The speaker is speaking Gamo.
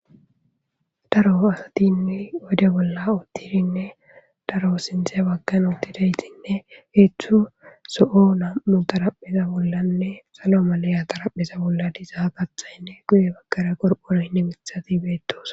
Daaro astine oydde bolla uttiddine daaro sinththe baggan uttidayti heezhzhu zo7o nam7u xarapheza bollane salo maliya xaraphpheza bolla diiza kaththaynne guye baggara qorqoroynne miththati bettossona.